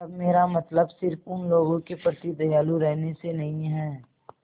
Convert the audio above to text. तब मेरा मतलब सिर्फ़ उन लोगों के प्रति दयालु रहने से नहीं है